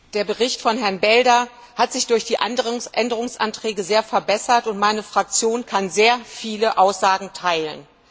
Herr Präsident! Der Bericht von Herrn Belder hat sich durch die Änderungsanträge sehr verbessert und meine Fraktion kann sehr viele Aussagen teilen.